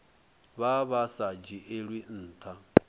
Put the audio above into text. vha vha sa dzhielwi ntha